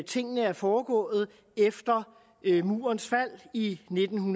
tingene er foregået efter murens fald i nitten